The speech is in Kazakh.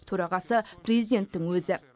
төрағасы президенттің өзі